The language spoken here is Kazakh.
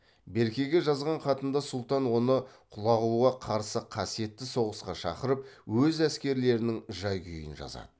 беркеге жазған хатында сұлтан оны құлағуға қарсы қасиетті соғысқа шақырып өз әскерлерінің жай күйін жазады